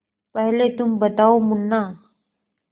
पहले तुम बताओ मुन्ना